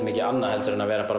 mikið annað en að vera bara